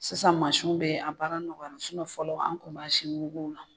Sisan masin bɛ yen, a baara nɔgɔya fɔlɔ an kun b'a sin masinna.